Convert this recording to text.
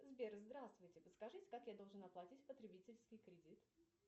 сбер здравствуйте подскажите как я должна платить потребительский кредит